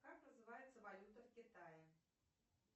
как называется валюта в китае